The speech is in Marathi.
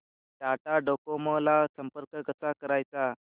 टाटा डोकोमो ला संपर्क कसा करायचा